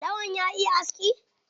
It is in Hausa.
Lawan ya iya aski?